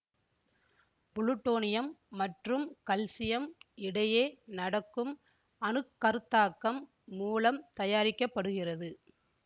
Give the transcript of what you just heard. plutonium மற்றும் calcium இடையே நடக்கும் அணுக்கருத்தாக்கம் மூலம் தயாரிக்க படுகிறது